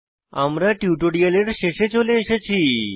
আমরা টিউটোরিয়ালের শেষে চলে এসেছি